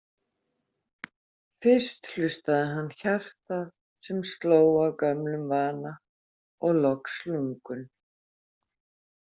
Fyrst hlustaði hann hjartað, sem sló af gömlum vana, og loks lungun.